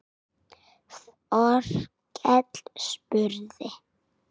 Þorkell spurði